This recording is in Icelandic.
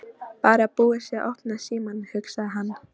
Bara að búið sé að opna símann, hugsaði hann.